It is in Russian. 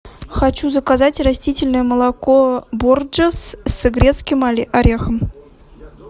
хочу заказать растительное молоко борджес с грецким орехом